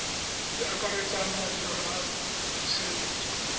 di akaretsang madirelo a tshireletso